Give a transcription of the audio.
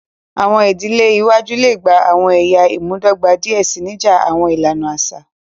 Awọn idile iwaju le gba awọn ẹya imudọgba diẹ sii, nija awọn ilana aṣa.